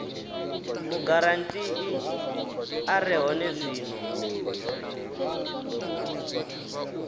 mugarantii a re hone zwino